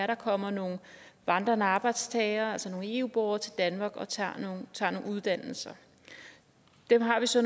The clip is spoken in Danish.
der kommer nogle vandrende arbejdstagere altså nogle eu borgere til danmark og tager noget uddannelse dem har vi så